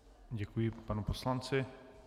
Děkuji panu poslanci.